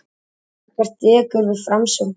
Ekkert dekur við framsókn heldur.